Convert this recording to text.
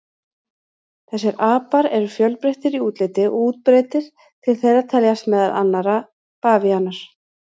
Þessir apar eru fjölbreyttir í útliti og útbreiddir, til þeirra teljast meðal annarra bavíanar.